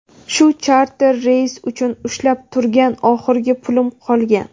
shu charter reys uchun ushlab turgan oxirgi pulim qolgan.